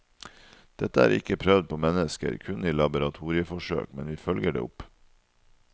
Dette er ikke prøvd på mennesker, kun i laboratorieforsøk, men vi følger det opp.